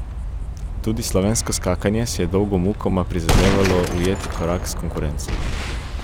Tudi slovensko skakanje si je dolgo mukoma prizadevalo ujeti korak s konkurenco.